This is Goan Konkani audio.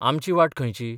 आमची वाट खंयची?